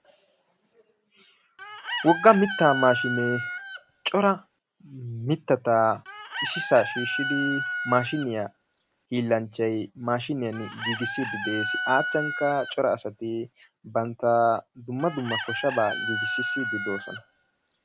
Wogga mitta maashinee cora mittata ississa shiishshidi maashiyaa hiilanchchay mashiniyaan giigisside de'ees. A achchankka cora asay bantta dumma dumma koshshaba giigisside de'oosona.